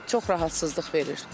Çox rahatsızlıq verir.